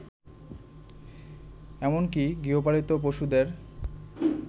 এমনকি গৃহপালিত পশুদের